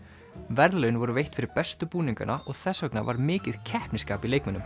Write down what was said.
verðlaun voru veitt fyrir bestu búningana og þess vegna var mikið keppnisskap í leikmönnum